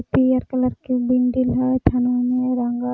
Peer colour के building हय थनवा में रंगल।